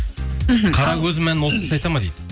мхм қара көзім әнін осы кісі айтады ма дейді